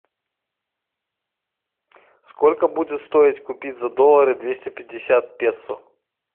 сколько будет стоить купить за доллары двести пятьдесят песо